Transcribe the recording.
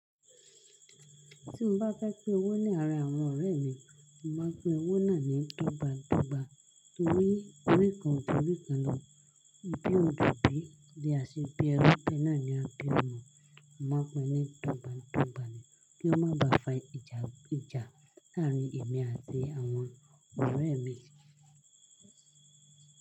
Tí mo bá fẹ́ pin owó ní arin àwọn ọ̀rẹ́ mi, mo máa ń pin owó náà ní dọ́gba dọ́gba. Nítorí orí kan o ju orí kan lọ. Ibi o ju bí, bí a ṣe bi ẹrú, bẹ́ẹ̀ náà ni a bí ọmọ. Mo máa ń pin ní dọ́gba dọ́gba ni kí ó máa ba fa ìjà ìjà láàrin èmi àti àwọn ọ̀rẹ́ mi.